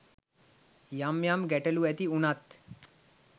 යම් යම් ගැටලු ඇති වුණත්